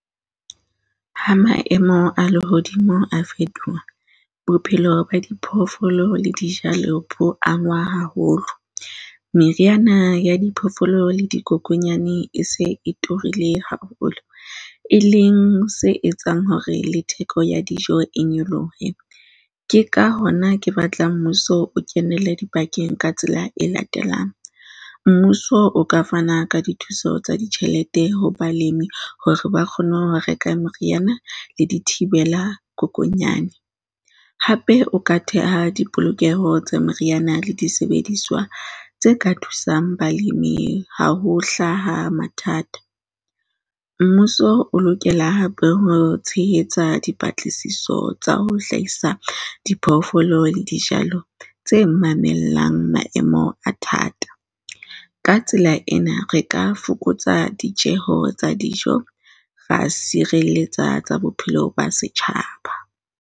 Ha maemo a lehodimo a fetoha, bophelo ba diphoofolo le dijalo bo angwa haholo, meriana ya diphoofolo le dikokonyane e se e turile haholo. E leng se etsang hore le theko ya dijo e nyolohe. Ke ka hona ke batla mmuso o kenelle dipakeng ka tsela e latelang. Mmuso o ka fana ka dithuso tsa ditjhelete ho balemi hore ba kgone ho reka meriana le dithibela kokonyana. Hape o ka theha dipolokeho tse meriana le disebediswa tse ka thusang balemi ha ho hlaha mathata. Mmuso o lokela hape ho tshehetsa dipatlisiso tsa ho hlahisa diphoofolo le dijalo tse mamellang maemo a thata. Ka tsela ena, re ka fokotsa ditjeo tsa dijo, ra sireletsa tsa bophelo ba setjhaba.